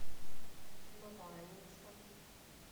новоаннинском